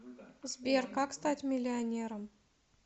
сбер как стать миллионером